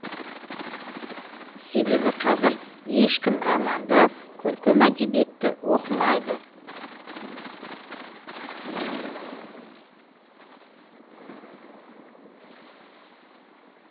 себебі қазір ешкім романды көркем әдебиетті оқымайды